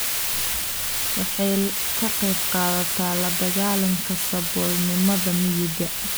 Waxay ka qaybqaadataa la dagaalanka saboolnimada miyiga.